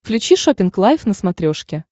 включи шоппинг лайв на смотрешке